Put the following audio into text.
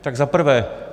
Tak za prvé.